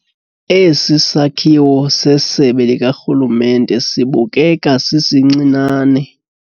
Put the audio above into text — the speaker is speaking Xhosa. Esi sakhiwo sesebe likarhulumente sibukeka sisincinane.